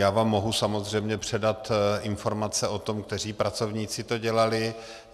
Já vám mohu samozřejmě předat informace o tom, kteří pracovníci to dělali.